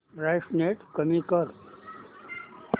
brightness कमी कर